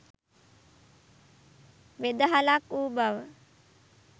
වෙදහලක් වූ බව